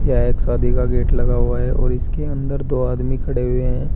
यहां एक शादी का गेट लगा हुआ है और इसके अंदर दो आदमी खडे़ हुए हैं।